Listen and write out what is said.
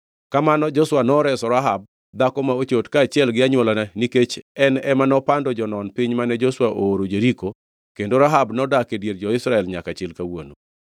Kamano Joshua noreso Rahab, dhako ma ochot, kaachiel gi anywolane nikech en ema nopando jonon piny mane Joshua ooro Jeriko kendo Rahab nodak e dier jo-Israel nyaka chil kawuono.